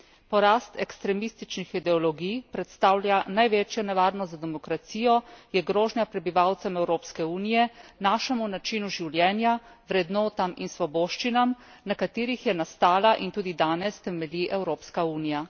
Porast ekstremističnih ideologij predstavlja največjo nevarnost za demokracijo, je grožnja prebivalcem Evropske unije, našemu načinu življenja, vrednotam in svoboščinam, na katerih je nastala in tudi danes temelji Evropska unija.